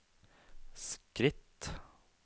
skritt